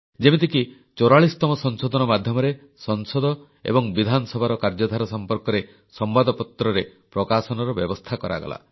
ଯେମିତିକି 44ତମ ସଂଶୋଧନ ମାଧ୍ୟମରେ ସଂସଦ ଏବଂ ବିଧାନସଭାର କାର୍ଯ୍ୟଧାରା ସମ୍ପର୍କରେ ସମ୍ବାଦପତ୍ରରେ ପ୍ରକାଶନର ବ୍ୟବସ୍ଥା କରାଗଲା